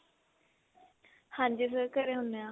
ਹਾਂਜੀ sir ਘਰੇ ਹੁੰਨੇ ਆਂ